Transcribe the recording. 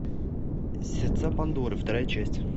сердца пандоры вторая часть